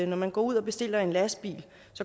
når man går ud og bestiller en lastbil